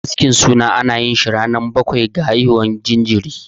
Askin suna ana yinsa ranar bakwai da haihuwar jinjiri.